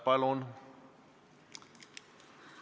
Palun!